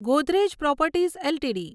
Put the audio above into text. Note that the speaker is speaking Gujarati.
Godrej properties LTD